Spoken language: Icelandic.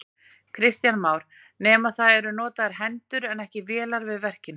Kristján Már: Nema það eru notaðar hendur en ekki vélar við verkin?